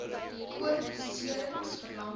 koord beserings verlamming